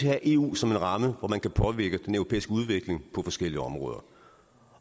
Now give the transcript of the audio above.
have eu som en ramme hvor man kan påvirke den europæiske udvikling på forskellige områder